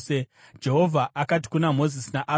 Jehovha akati kuna Mozisi naAroni,